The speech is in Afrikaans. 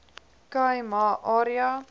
khai ma area